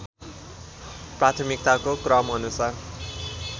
प्राथमिकताको क्रम अनुसार